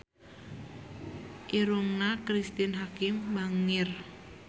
Irungna Cristine Hakim bangir